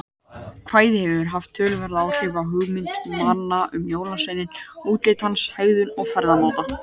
Kvæðið hefur haft töluverð áhrif á hugmyndir manna um jólasveininn, útlit hans, hegðun og ferðamáta.